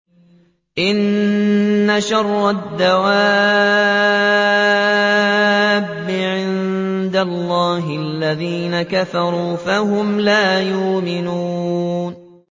إِنَّ شَرَّ الدَّوَابِّ عِندَ اللَّهِ الَّذِينَ كَفَرُوا فَهُمْ لَا يُؤْمِنُونَ